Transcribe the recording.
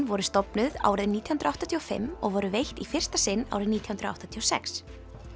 voru stofnuð árið nítján hundruð áttatíu og fimm og voru veitt í fyrsta sinn árið nítján hundruð áttatíu og sex